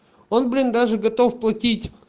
он блин даже готов платить